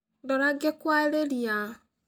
Ndora ngĩkũarĩria